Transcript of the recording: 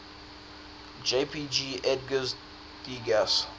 jpg edgar degas